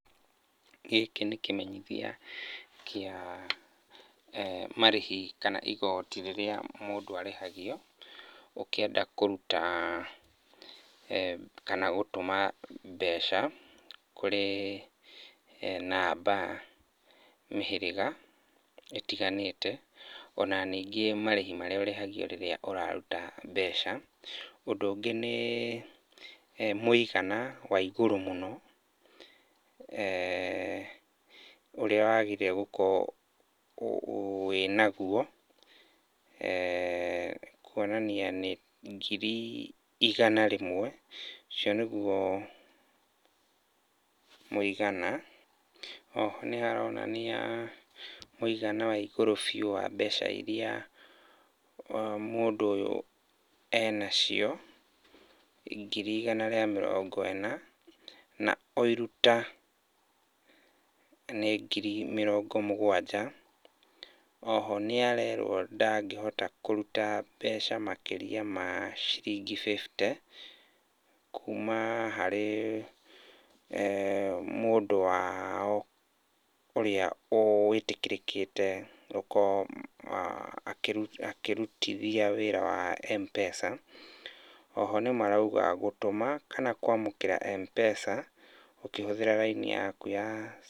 Gĩkĩ nĩ kĩmenyithia kia marĩhi kana igoti rĩrĩa mũndũ arĩhagio ũkĩenda kũruta, kana gũtũma mbeca kũrĩ namba mĩhĩrĩga ĩtiganĩte, ona ningĩ marĩhi marĩa urĩhagio rĩrĩa ũrarũta mbeca. Ũndũ ũngĩ, nĩ mũigana wa igũrũ mũno eeh ũrĩa wagĩrĩire gũkorwo wĩnaguo, eeh kuonania nĩ ngirĩ igana rĩmwe, ũcio nĩguo mũigana. O ho nĩ haronania mũigana wa igũrũ biu wa mbeca iria mũndũ ũyũ enacio, ngiri igana rĩa mĩrongo ĩna, na o iruta nĩ ngiri mĩrongo mũgwanja. O ho nĩarerwo ndangĩhota kũruta mbeca makĩria ma ciringi bĩbite kuuma harĩ eeh mũndũ wao ũrĩa wĩtĩkĩrĩkĩte gũkorwo akĩrutithia wĩra wa Mpesa. O ho nĩ marauga gũtũma kana kwamũkĩra Mpesa ũkihũthĩra raini yaku ya...